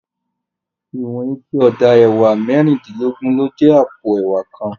Iwòn iké òdá èwá mèrindilògbòn ló jè àpó èwá kán